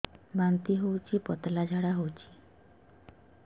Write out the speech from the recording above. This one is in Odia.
ବାନ୍ତି ହଉଚି ପତଳା ଝାଡା ହଉଚି